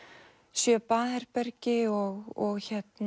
sjö baðherbergi og